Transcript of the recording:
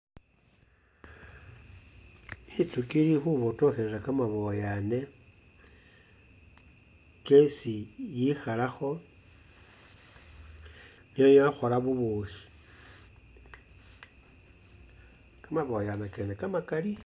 Inzukhi ili khubotokhelela kamaboyaana kesi yikhalakho no yakhola bùbuukhi, kamaboyaana kene kamakali.